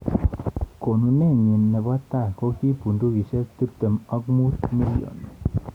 Konunetnyi nebo tai koki poundisiek tibtem ak mut million.